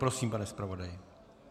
Prosím, pane zpravodaji.